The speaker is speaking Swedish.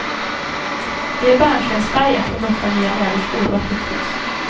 Det är bärnstensfärgat och doftar nya läderskor och aprikos.